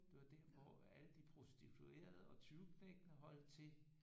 Det var der hvor alle de prostituerede og tyveknægtene holdt til